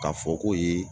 K'a fɔ ko ye